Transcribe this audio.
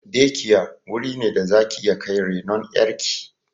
"Day care" wuri ne da zaki iya kai renon ƴar ki